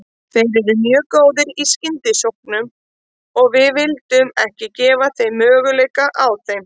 Þeir eru mjög góðir í skyndisóknum og við vildum ekki gefa þeim möguleika á þeim.